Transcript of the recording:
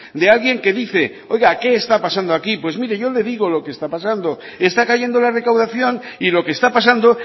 de alguien que dice oiga qué está pasando aquí pues mire yo le digo lo que está pasando está cayendo la recaudación y lo que está pasando